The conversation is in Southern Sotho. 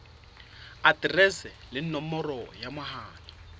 aterese le nomoro ya mohala